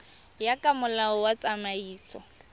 ya ka molao wa tsamaiso